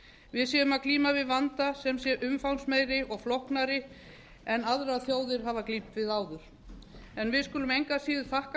við séum að glíma við vanda sem sé umfangsmeiri og flóknari en aðrar þjóðir hafa glímt við áður við skulum engu að síður þakka